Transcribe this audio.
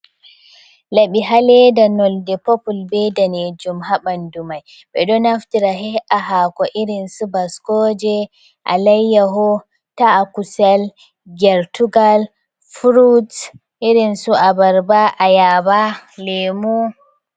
Laɓi ha leeda nonde "popul" bee daneejum ha ɓanndu may. Ɓe ɗon naftira heƴƴa haako "irinsu" baskooje alayyaho, ta'a kusel, gertugal, "furuts irinsu" abarba "ayaaba", leemu.